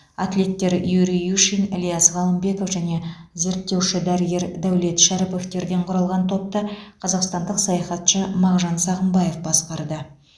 атлеттер юрий юшин ілияс ғалымбеков және зерттеуші дәрігер дәулет шәріповтерден құралған топты қазақстандық саяхатшы мағжан сағымбаев басқарды